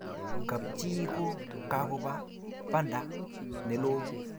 kab chi ko kakoba banda ne loo